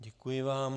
Děkuji vám.